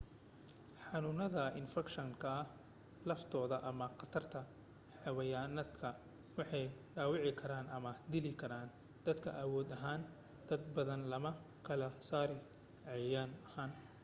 xanuunada infakshanka laftooda ama qatarta xeyawaanaadka waxay dhaawici karaan ama dili karaan dadka awood ahaan badana looma kala saaro cayayan ahaan